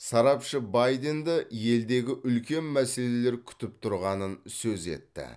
сарапшы байденді елдегі үлкен мәселелер күтіп тұрғанын сөз етті